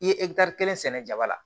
I ye kelen sɛnɛ jaba la